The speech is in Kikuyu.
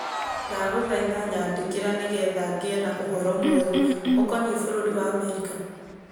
Ndagũthaitha nyandĩkĩre nĩgetha ngĩe na ũhoro mwerũ ũkoniĩ bũrũri wa Amerika.